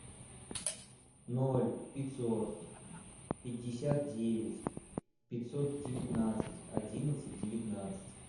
ноль пятьсот пятьдесят девять пятьсот девятнадцать одиннадцать девятнадцать